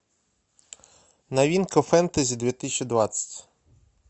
новинка фэнтези две тысячи двадцать